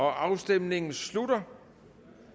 afstemningen slutter